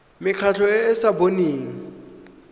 mekgatlho e e sa boneng